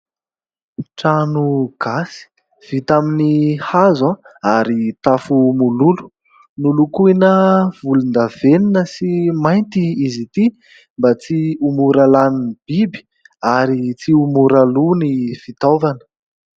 Trano gasy vita amin'ny hazo a ary tafo mololo. Nolokoina volondavenina sy mainty izy ity, mba tsy ho mora lanin'ny biby ary tsy ho mora lòa ny fitaovana.